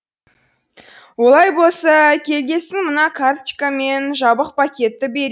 олай болса келгесін мына карточка мен жабық пакетті бер